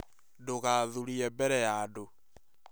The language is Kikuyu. Ndũgathũrĩe mbere ya andũ